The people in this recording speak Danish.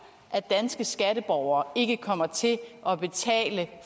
at danske skatteborgere ikke kommer til at betale